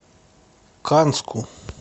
канску